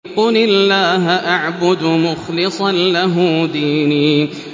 قُلِ اللَّهَ أَعْبُدُ مُخْلِصًا لَّهُ دِينِي